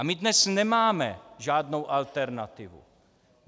A my dnes nemáme žádnou alternativu.